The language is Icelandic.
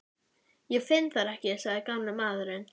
Ég finn þær ekki sagði gamli maðurinn.